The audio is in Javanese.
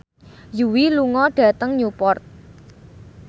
Yui lunga dhateng Newport